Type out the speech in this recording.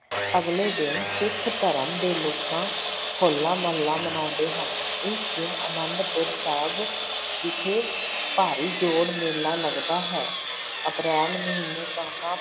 ਅਗਲੇ ਦਿਨ ਸਿੱਖ ਧਰਮ ਦੇ ਲੋਕਾਂ ਹੋਲਾ ਮਹੱਲਾ ਮਨਾਉਂਦੇ ਹਨ, ਇਸ ਦਿਨ ਆਨੰਦਪੁਰ ਸਾਹਿਬ ਵਿਖੇ ਭਾਰੀ ਜੋੜ ਮੇਲਾ ਲੱਗਦਾ ਹੈ ਅਪ੍ਰੈਲ ਮਹੀਨੇ ਕਣਕਾਂ